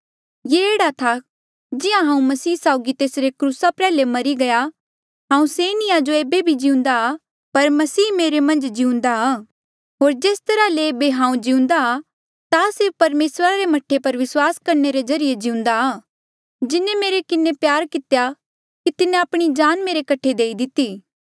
ये एह्ड़ा था जिहां हांऊँ मसीह साउगी तेसरे क्रूसा प्रयाल्हे मरी गया हांऊँ से नी आ जो ऐबे भी जिउंदा पर मसीह मेरे मन्झ जिउंदा होर जेस तरहा ले ऐबे हांऊँ जिउंदा ता सिर्फ परमेसर रे मह्ठे पर विस्वास करणे रे ज्रीए जिउंदा जिन्हें मेरे किन्हें इतना प्यार कितेया कि तिन्हें आपणी जान मेरे कठे देई दिती